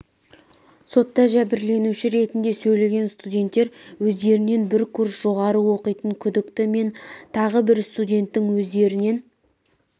сотта жәбірленуші ретінде сөйлеген студенттер өздерінен бір курс жоғары оқитын күдікті мен тағы бір студенттің өздерінен